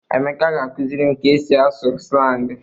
Emeka ga-akụziri m ka e si asụ slangị.